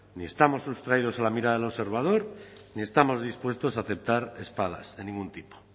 ni estamos sustraídos a la mirada de observador ni estamos dispuestos a aceptar espadas de ningún tipo